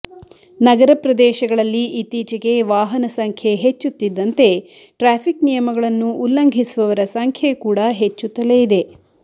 ನಗರ ಪ್ರದೇಶಗಳಲ್ಲಿ ಇತ್ತೀಚೆಗೆ ವಾಹನ ಸಂಖ್ಯೆ ಹೆಚ್ಚುತ್ತಿದ್ದಂತೆ ಟ್ರಾಫಿಕ್ ನಿಯಮಗಳನ್ನು ಉಲ್ಲಂಘಿಸುವವರ ಸಂಖ್ಯೆ ಕೂಡಾ ಹೆಚ್ಚುತ್ತಲೇ ಇದೆ